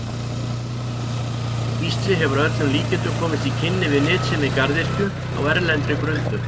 Gísli hefur að öllum líkindum komist í kynni við nytsemi garðyrkju á erlendri grund.